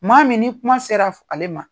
Maa min ni kuma sera ale ma.